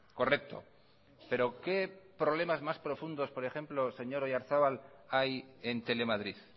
correcto pero qué problemas más profundos por ejemplo señor oyarzabal hay en telemadrid